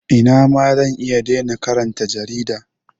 Ina ma zan iya dena karanta jarida.